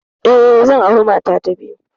Eh, zan aure mata ta biyu.